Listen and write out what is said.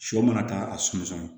Sɔ mana taa a sunsun na